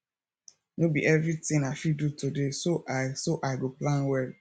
no be everything i fit do today so i so i go plan well